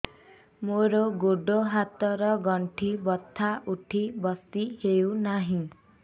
ମୋର ଗୋଡ଼ ହାତ ର ଗଣ୍ଠି ବଥା ଉଠି ବସି ହେଉନାହିଁ